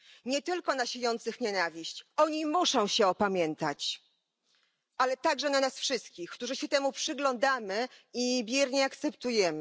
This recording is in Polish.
Nie tylko na siejących nienawiść oni muszą się opamiętać ale także na nas wszystkich, którzy się temu przyglądamy i biernie akceptujemy.